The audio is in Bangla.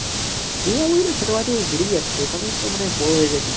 দীঘা পুরী তো ছোটবেলা থেকে ঘুরেই আসছি ওখানেইতো মানে বড়ো হয়ে গেছি